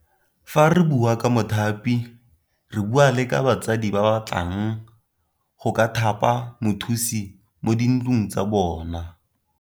Fa re bua ka mothapi re bua le ka batsadi ba ba batlang go ka thapa mothusi mo di ntlong tsa bona.